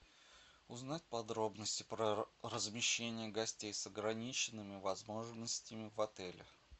узнать подробности про размещение гостей с ограниченными возможностями в отелях